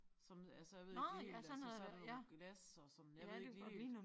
Som altså jeg ved ikke lige helt altså så der nogle glas og sådan jeg ved ikke lige helt